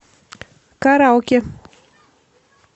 караоке